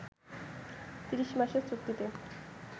৩০ মাসের চুক্তিতে